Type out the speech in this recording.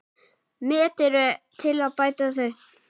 Met eru til að bæta þau.